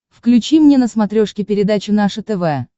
включи мне на смотрешке передачу наше тв